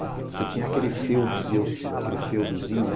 Você tinha aquele feudos aquele feudozinho, né?